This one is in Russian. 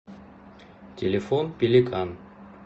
телефон пеликан